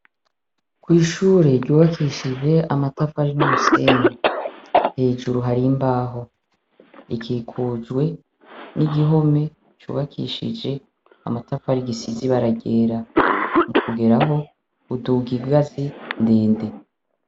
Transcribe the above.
Kw'ishure ryubakishije amatafari numusenyi , hejuru hari imbaho rikikujwe nigihome cubakishijwe amatafari gisize ibara ryera kukigeraho uduga inganzi ndende .